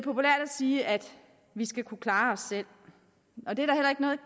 sige at vi skal kunne klare os selv og det